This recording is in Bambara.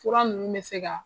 Fura nunnu bɛ se ka.